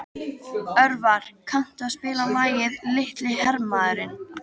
Örvar, kanntu að spila lagið „Litli hermaðurinn“?